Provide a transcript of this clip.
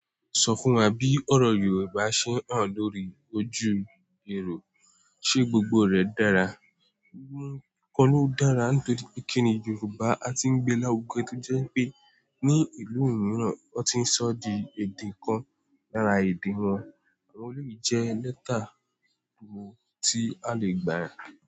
Sọ fún wa bí ọ̀rọ̀ Yorùbá ṣe hàn lórí ojú irin, ṣe gbogbo rẹ̀ dára? Ohun kan ló dára nítorí pé kíni Yorùbá a ti ń gbé lárugẹ tó jẹ́ wipé ní ìlú mìíràn wọ́n ti ń sọ di èdè kan lára èdè wọn àwọn ìlú jẹ lẹ́tà tí a lè gbà.